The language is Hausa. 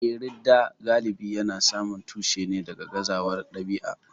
Eh, ridda galibi yana samun tushensa daga gazawar ɗabi'a.